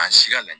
An sira la